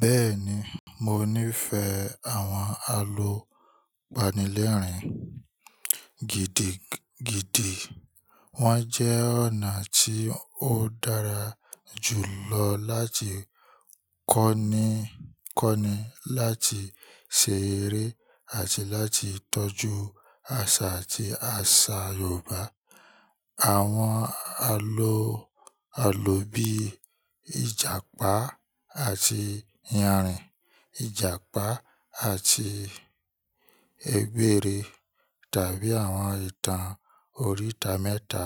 Bẹ́ẹ̀ni, mo nífẹ̀ẹ́ àwọn àlọ́ àpamọ́ ìrìn gidi gidi. Wọ́n jẹ́ ọ̀nà tí ó dára jù lọ láti kọ́ni, láti ṣe eré àti láti tọ́jú àṣà àti àṣà Yorùbá. Àwọn àlọ́ bíi "Ìjàpá àti iyanrìn," "Ìjàpá àti egbére," tàbí àwọn ìtàn oríita mẹ́ta